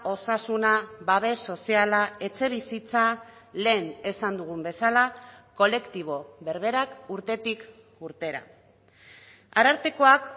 osasuna babes soziala etxebizitza lehen esan dugun bezala kolektibo berberak urtetik urtera arartekoak